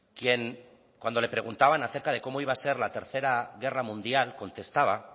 quien cuando le preguntaban acerca de cómo iba a ser la tercera guerra mundial contestaba